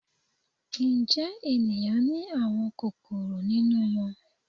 Njẹ eniyan ni awọn kokoro ninu wọn?